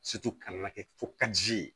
ka na kɛ fo ka ji